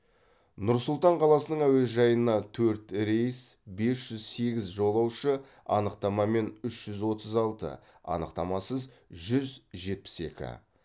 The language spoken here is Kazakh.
нұр сұлтан қаласының әуежайына төрт рейс бес жүз сегіз жолаушы анықтамамен үш жүз отыз алты анықтамасыз жүз жетпіс екі